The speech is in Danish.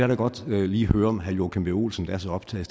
da godt lige høre om herre joachim b olsen der er så optaget